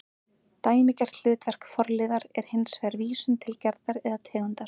Dæmigert hlutverk forliðar er hins vegar vísun til gerðar eða tegundar